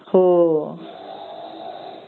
हो